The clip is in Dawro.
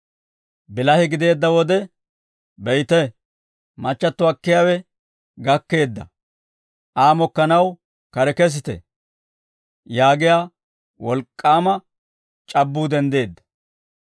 «Bilahe gideedda wode, ‹Be'ite, machchatto akkiyaawe gakkeedda; Aa mokkanaw kare kesite› yaagiyaa wolk'k'aama c'abbuu denddeedda.